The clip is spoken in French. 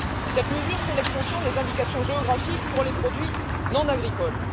Cette mesure, c'est l'extension des indications géographiques pour les produits non agricoles.